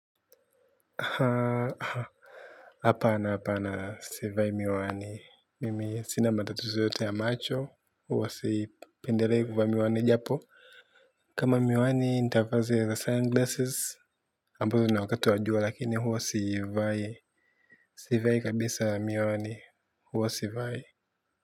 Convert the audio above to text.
Hapa apana sivai miwani. Mimi sina matatizo yote ya macho. Huwa sipendeleikuvaa miwani japo. Kama miwani nitafazi ya the sunglasses. Ambalo na wakatu wajua lakini huwa sivai. Sivai kabisa miwani. Huwa sivai.